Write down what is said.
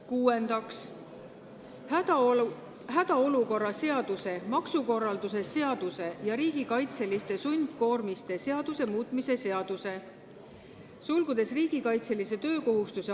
Kuuendaks, hädaolukorra seaduse, maksukorralduse seaduse ja riigikaitseliste sundkoormiste seaduse muutmise seaduse eelnõu.